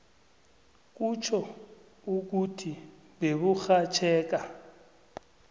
kutjho ukuthi beburhatjheka